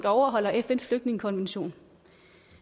overholder fns flygtningekonvention